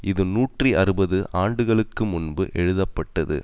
இது நூற்றி அறுபது ஆண்டுகளுக்கு முன்பு எழுதப்பட்டது